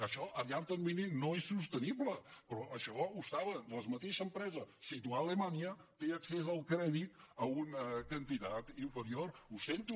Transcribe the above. això a llarg termini no és sostenible però això ho saben la mateixa empresa situada a alemanya té accés al crèdit a una quantitat inferior ho sento